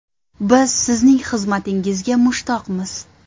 Biz sizning xizmatingizga mushtoqmiz.